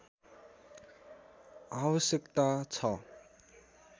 आवश्यकता छ